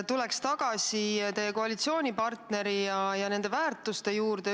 Tuleks tagasi teie koalitsioonipartneri ja tema väärtuste juurde.